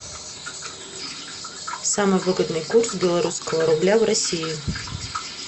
самый выгодный курс белорусского рубля в россии